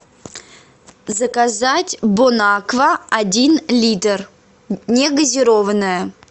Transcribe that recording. заказать бонаква один литр негазированная